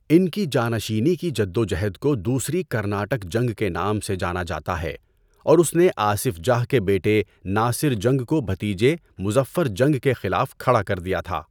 ان کی جانشینی کی جدوجہد کو دوسری کرناٹک جنگ کے نام سے جانا جاتا ہے اور اس نے آصف جاہ کے بیٹے ناصر جنگ کو بھتیجے مظفر جنگ کے خلاف کھڑا کر دیا تھا۔